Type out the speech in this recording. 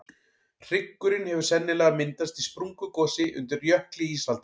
hryggurinn hefur sennilega myndast í sprungugosi undir jökli ísaldar